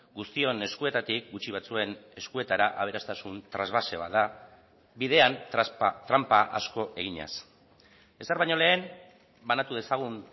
guztion eskuetatik gutxi batzuen eskuetara aberastasun trasbase bat da bidean tranpa asko eginez ezer baino lehen banatu dezagun